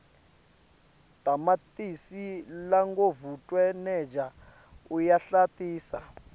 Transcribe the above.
tamatisi longavutfwaneja uyahlantisa